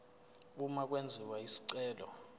uma kwenziwa isicelo